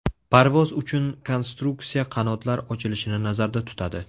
Parvoz uchun konstruksiya qanotlar ochilishini nazarda tutadi.